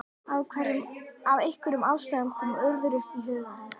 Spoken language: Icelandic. Af einhverjum ástæðum kom Urður upp í huga hennar.